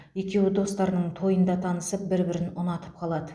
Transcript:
екеуі достарының тойында танысып бір бірін ұнатып қалады